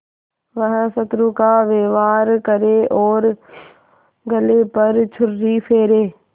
वह शत्रु का व्यवहार करे और गले पर छुरी फेरे